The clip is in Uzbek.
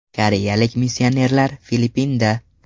Koreyalik missionerlar Filippinda.